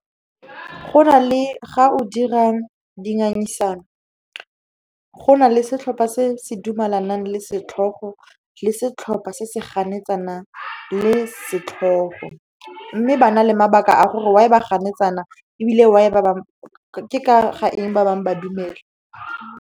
Ga o dira dingangisano, go na le setlhopha se se dumalanang le setlhogo le setlhopha se se ganetsanang le setlhogo, mme ba na le mabaka a gore why ba ganetsana, ebile ke ka ga eng ba bangwe ba dumela.